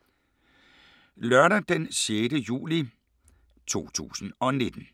Lørdag d. 6. juli 2019